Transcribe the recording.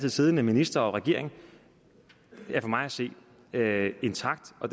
siddende minister og regering for mig at se er intakt og